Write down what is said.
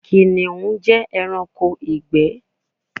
Kiniun jẹ ẹranko igbẹ